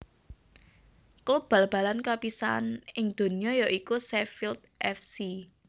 Klub bal balan kapisaan ing donya ya iku Sheffield F C